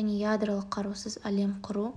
және ядролық қарусыз әлем құру